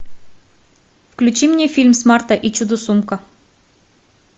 включи мне фильм смарта и чудо сумка